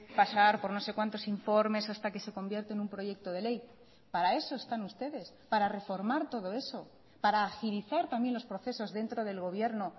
pasar por no sé cuantos informes hasta que se convierte en un proyecto de ley para eso están ustedes para reformar todo eso para agilizar también los procesos dentro del gobierno